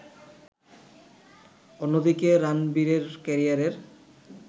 অন্যদিকে রানবিরের ক্যারিয়ারের